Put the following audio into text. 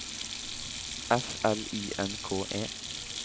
F L I N K E